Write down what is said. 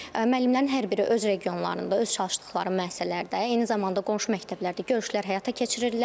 Müəllimlərin hər biri öz regionlarında, öz çalışdıqları müəssisələrdə, eyni zamanda qonşu məktəblərdə görüşlər həyata keçirirlər.